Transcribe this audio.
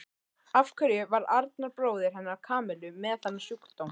Af hverju var Arnar bróðir hennar Kamillu með þennan sjúkdóm?